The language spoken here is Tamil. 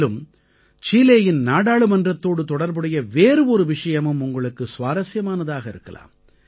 மேலும் சீலேயின் நாடாளுமன்றத்தோடு தொடர்புடைய வேறு ஒரு விஷயமும் உங்களுக்கு சுவாரசியமானதாக இருக்கலாம்